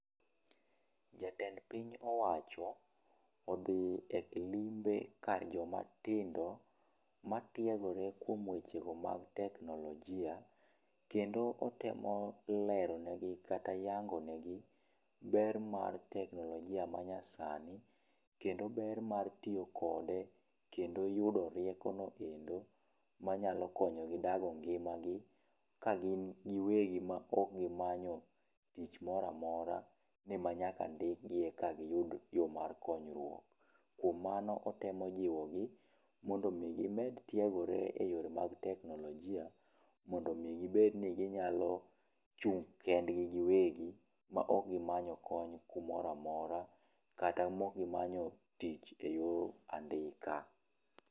Jatend piny owacho odhi e limbe kar joma tindo ma tiegore kuom wechego mag teknolojia kendo otemo lero ne gi kata yango negi ber mar teknolojia ma nya sani kendo ber mar tiyo kode kendo yudo rieko no endo manyalo konyo gi dago ngimagi ka gin giwegi ma ok gimanyo tich moramora, ni ma nyaka ndik gi eka giyud yoo mar konyruok. Kuom mano, otemo jiwo gi mondo mi gimed tiegore e yore mag teknolojia mondo mi gibed ni ginyalo chung' kendgi giwegi, ma ok gimanyo kony kumoro amora kata mok gimanyo tich eyor andika.